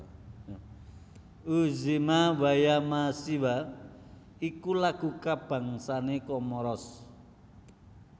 Udzima wa ya Masiwa iku lagu kabangsané Komoros